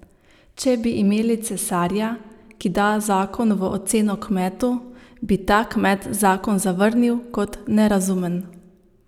Če bi imeli cesarja, ki da zakon v oceno kmetu, bi ta kmet zakon zavrnil kot nerazumen.